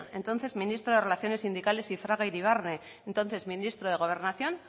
entonces ministro de relaciones sindicales y fraga iribarne entonces ministro de gobernación